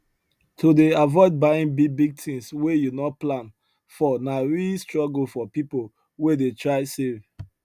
to dey avoid buying bigbig things wey you no plan for na real struggle for people wey dey try save